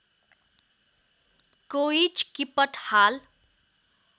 कोइँच किपट हाल